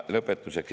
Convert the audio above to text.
Lõpetuseks.